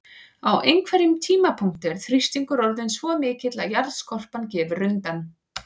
Á einhverjum tímapunkti er þrýstingur orðinn svo mikill að jarðskorpan gefur undan.